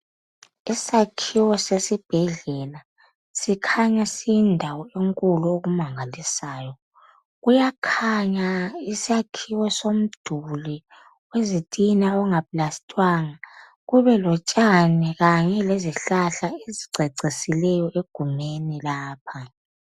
Isakhiwo sesibhedlea sikhanya siyindawo enkulu okumangalisayo kuyakhanya isakhiwo somduli wezitina ongaplastiwanga kube lotshani kanye ezihlahla ezicecisileyo egumeni lapha.